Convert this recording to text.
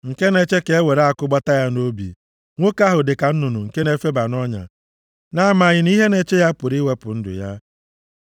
nke na-eche ka e were àkụ gbata ya nʼobi. Nwoke ahụ dịka nnụnụ nke na-efeba nʼọnya na-amaghị ihe na-eche ya pụrụ iwepụ ndu ya.